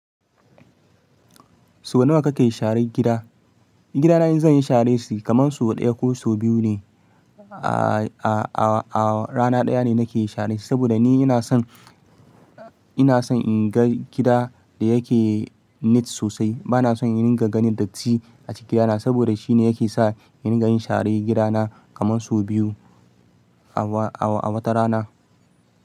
Sau nawa kakan share gida? Gidana in zan yi sharan shi kamar sau ɗaya ko sau biyu ne. A, a, a rana ɗaya ne nake share shi. Saboda ni ina son, ina son in ga gida da yake neat sosai. Bana son in dinga ganin datti a cikin gidana. Saboda shine yake sa in ga yin share gida na kamar sau biyu a wata rana.